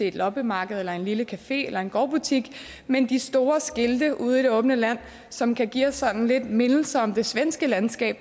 et loppemarked eller en lille café eller en gårdbutik men de store skilte ude i det åbne land som kan give os sådan lidt mindelser om det svenske landskab